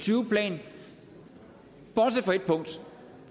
tyve plan bortset fra et punkt